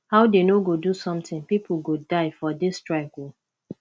how dey no go do something people go die for dis strike oo